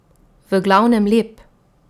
V glavnem lep.